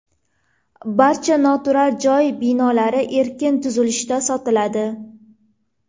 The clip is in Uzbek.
Barcha noturar joy binolari erkin tuzilishda sotiladi.